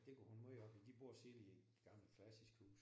Det går hun meget op i de bor selv i et gammelt klassisk hus